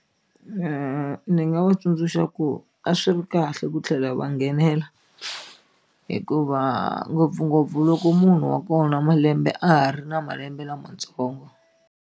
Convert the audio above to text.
ni nga va tsundzuxa ku a swi ri kahle ku tlhela va nghenela hikuva ngopfungopfu loko munhu wa kona malembe a ha ri na malembe lamatsongo.